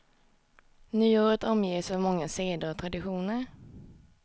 Nyåret omges av många seder och traditioner.